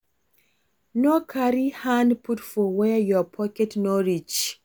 No carry hand put for where your pocket no reach